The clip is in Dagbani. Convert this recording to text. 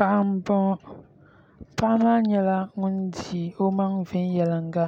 Paɣa n boŋo paɣa maa nyɛla ŋun di o maŋa viɛnyɛlinga